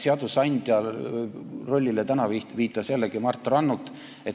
Seadusandja rollile viitas täna jällegi Mart Rannut.